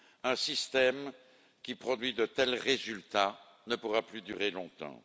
Un système qui produit de tels résultats ne pourra plus durer longtemps.